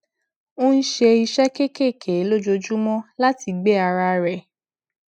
ó ń ṣe iṣé kéékèèké lójoojúmó láti gbé ara rẹ